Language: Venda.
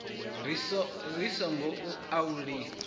ri singo u a lifha